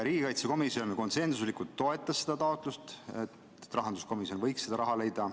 Riigikaitsekomisjon konsensuslikult toetas seda taotlust, et rahanduskomisjon võiks selle raha leida.